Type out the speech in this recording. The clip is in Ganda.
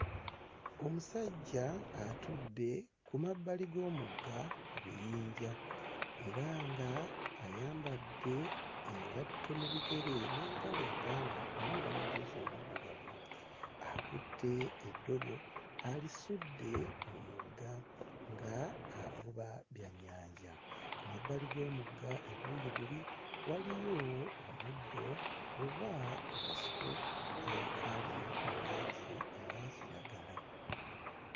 Omusajja atudde ku mabbali g'omugga ku biyinja era nga ayambadde engatto mu bigere n'empale empanvu n'omujoozi omuddugavu akutte eddobo alisudde mu mugga nga avuba byannyanja, ku mabbali g'omugga ebuuyi buli waliyo omuddo oba okasiko akali mu langi eya kiragala.